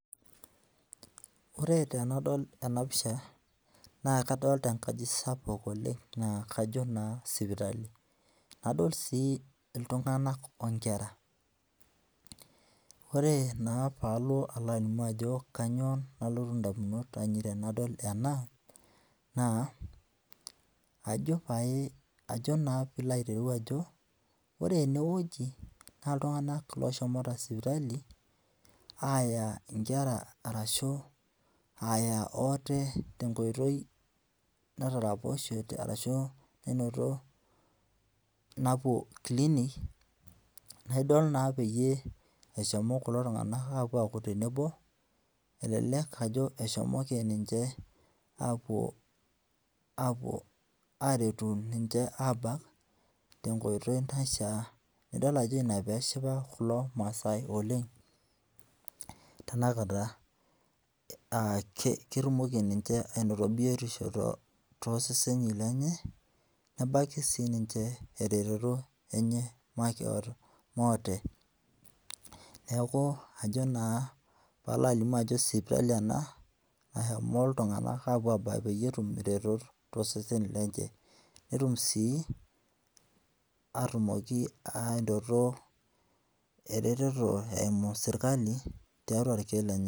Ore tenadol ena pisha naa kadolita enkaji sapuk oleng naa kajo naa sipitali. Adol sii iltung'anak o nkera. Ore naa paalo alaalimu ajo kanyoo nalotu indamunot ainei tenadol ena naa ajo pae, ajo naa piilo aitereu ajo ore enewueji naa iltung'anak looshomoita sipitali aaya inkera arashu aaya oote tenkoitoi ashu tenkoitoi nainoto napwo clinic naidol naa peyie, eshomo kulo tung'anak aku tenebo. Elelek ajo eshomoki ninche aapwo aaretu ninche aabak tenkoitoi naishaa. Nidol ajo ina peeshipa kulo maasai oleng tenakata aa ketumoki ninche ainoto biotishu tooseseni lenye nebaiki siininche eretoto enye moote. Neeku ajo naa paalo alimu ajo sipitali ena nashomo iltung'anak aapwo abaiki peyie etum iretot tooseseni lenche, netum sii atumoki ainoto eretoto eumu serikali tiatwa irkiek lenye